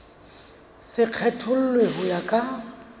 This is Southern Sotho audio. se kgethollwe ho ya ka